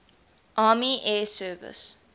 army air service